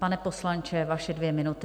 Pane poslanče, vaše dvě minuty.